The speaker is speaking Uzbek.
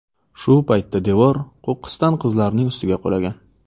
Shu paytda devor qo‘qqisdan qizlarning ustiga qulagan.